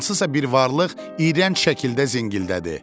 Hansısa bir varlıq iyrənc şəkildə zingildədi.